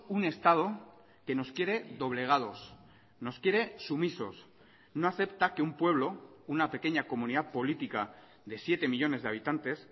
un estado que nos quiere doblegados nos quiere sumisos no acepta que un pueblo una pequeña comunidad política de siete millónes de habitantes